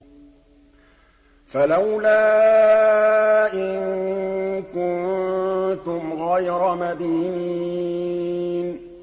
فَلَوْلَا إِن كُنتُمْ غَيْرَ مَدِينِينَ